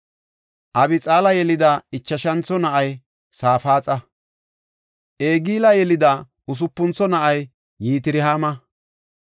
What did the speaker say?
Abixaala yelida ichashantho na7ay Safaaxa. Egila yelida usupuntho na7ay Yitirhaama.